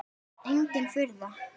Engin furða.